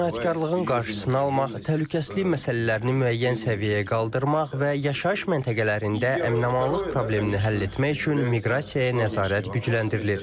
Cinayətkarlığın qarşısını almaq, təhlükəsizlik məsələlərini müəyyən səviyyəyə qaldırmaq və yaşayış məntəqələrində əmin-amanlıq problemini həll etmək üçün miqrasiyaya nəzarət gücləndirilir.